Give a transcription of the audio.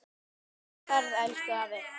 Góða ferð, elsku afi.